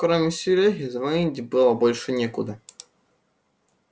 кроме серёги звонить было больше некуда